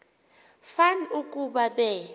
fan ukuba be